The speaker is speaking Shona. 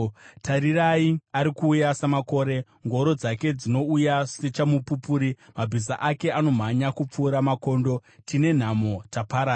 Tarirai! Ari kuuya samakore, ngoro dzake dzinouya sechamupupuri, mabhiza ake anomhanya kupfuura makondo, Tine nhamo! Taparara!